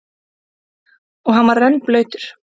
Og hann var rennblautur.